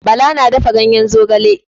Bala na dafa gayen zogala.